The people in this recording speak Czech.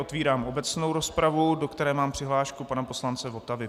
Otvírám obecnou rozpravu, do které mám přihlášku pana poslance Votavy.